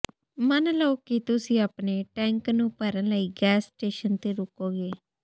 ਮੰਨ ਲਓ ਕਿ ਤੁਸੀਂ ਆਪਣੇ ਟੈਂਕ ਨੂੰ ਭਰਨ ਲਈ ਗੈਸ ਸਟੇਸ਼ਨ ਤੇ ਰੁਕੋਗੇ